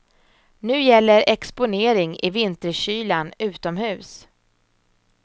Nu gäller exponering i vinterkylan utomhus.